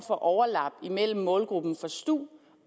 for overlap imellem målgruppen for stu